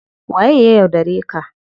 Waye ya yaudare ka?